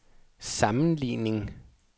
sammenligning